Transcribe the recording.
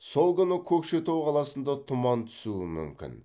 сол күні көкшетау қаласында тұман түсуі мүмкін